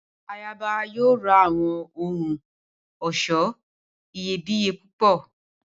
Ayaba yoo ra awọn ohun ọṣọ iyebiye pupọ